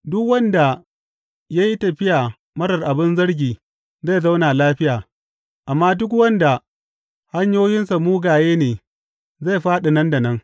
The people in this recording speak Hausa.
Duk wanda ya yi tafiya marar abin zargi zai zauna lafiya, amma duk wanda hanyoyinsa mugaye ne zai fāɗi nan da nan.